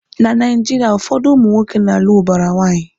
Na Naijiria, ụfọdụ ụmụnwoke na alụ ubara nwanyi